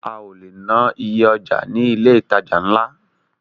A ò le ná iye ọjà ní ilé ìtajà ńlá.